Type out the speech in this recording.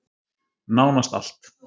Nánast allt.